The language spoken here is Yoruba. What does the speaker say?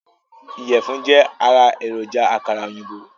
Iyẹ̀fun jẹ́ ará èròjà àkàrà òyìnbó